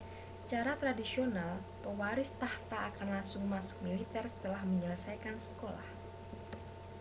secara tradisional pewaris takhta akan langsung masuk militer setelah menyelesaikan sekolah